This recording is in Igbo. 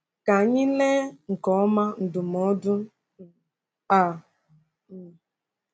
Ka anyị lee nke ọma ndụmọdụ um a. um